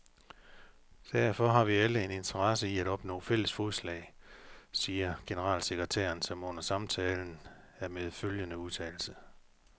Derfor har vi alle en interesse i at opnå fælles fodslag, siger generalsekretæren, som runder samtalen af med følgende udtalelse.